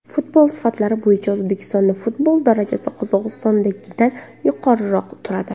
Futbol sifatlari bo‘yicha O‘zbekistonda futbol darajasi Qozog‘istondagidan yuqoriroq turadi.